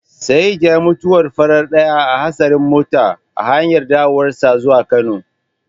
Sa'eed yayi mutuwar farar ɗaya a hatsarin mota a hanyar dawowarsa zuwa Kano.